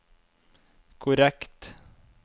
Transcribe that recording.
korrekt